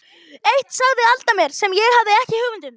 Eitt sagði Alda mér sem ég hafði ekki hugmynd um.